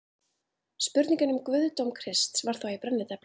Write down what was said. Spurningin um guðdóm Krists var þá í brennidepli.